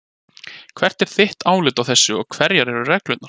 Hvert er þitt álit á þessu og hverjar eru reglurnar?